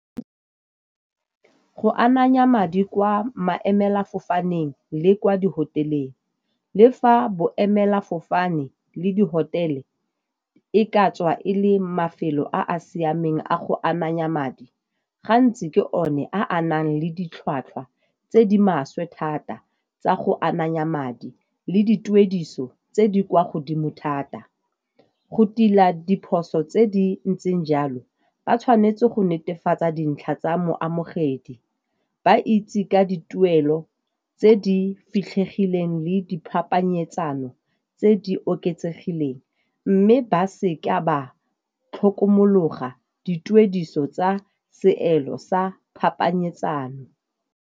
Go ananya madi kwa maemelafofaneng le kwa di-hotel-eng, le fa boemelafofane le di-hotel-e e ka tswa e le mafelo a a siameng a go ananya madi gantsi ke one a nang le ditlhwatlhwa tse di maswe thata tsa go ananya madi le dituediso tse di kwa godimo thata. Go tila diphoso tse di ntseng jalo ba tshwanetse go netefatsa dintlha tsa moamogedi, ba itse ka dituelo tse di fitlhegileng le di phapanyetsano tse di oketsegileng, mme ba seka ba tlhokomologa dituediso tsa seelo sa phapanyetsano.